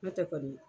N'o tɛ kɔni